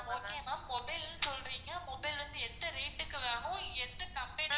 okay ma'am mobile னு சொல்றீங்க mobile வந்து எந்த rate க்கு வேணும் எந்த company ல வேணும்